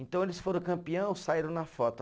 Então eles foram campeão, saíram na foto.